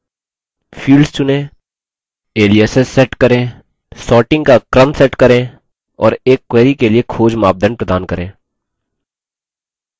fields चुनें